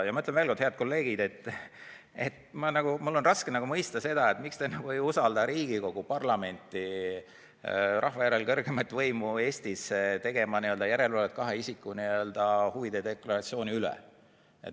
Ja ma ütlen veel kord, head kolleegid, et mul on raske mõista, et miks te ei usalda Riigikogu, parlamenti, rahva järel kõrgeimat võimu Eestis tegema järelevalvet kahe isiku huvide deklaratsiooni üle.